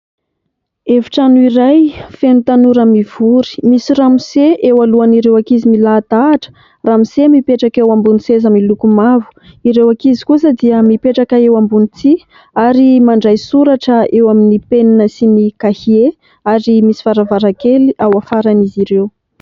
Efitrano iray feno tanora mivory. Misy ramose eo alohan'ireo ankizy milahadahatra ramose mipetraka eo ambony seza miloko mavo. Ireo ankizy kosa dia mipetraka eo ambony tsihy ary mandray soratra eo amin'ny penina sy ny kahie ary misy varavarankely ao afaran'izy ireo.